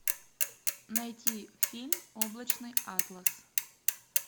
найти фильм облачный атлас